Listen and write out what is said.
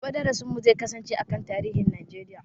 Gobe darasin mu zai kasance a kan tarihin Najeriya